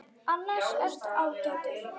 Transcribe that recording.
Annars ertu ágætur.